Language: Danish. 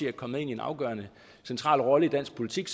er kommet ind i en afgørende central rolle i dansk politik